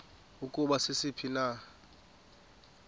ukuba sisiphi na